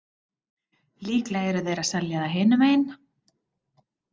Líklega eru þeir að selja það hinum megin.